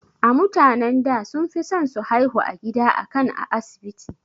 A mutanen da sunfison su haihu a gida akan a asibiti